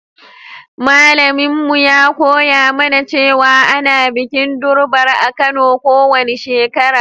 Malamin mu ya koya mana cewa ana bikin Durbar a'Kano ko wani shekara.